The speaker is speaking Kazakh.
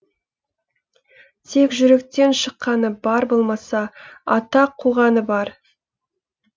тек жүректен шыққаны бар болмаса атақ қуғаны бар